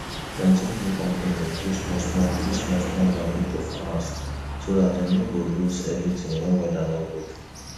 plenty new companies dey give small small give small small money to farmers so dat dem no go lose everything wen weather no good